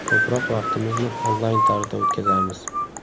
Ko‘proq vaqtimizni onlayn tarzda o‘tkazamiz.